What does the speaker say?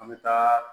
An bɛ taa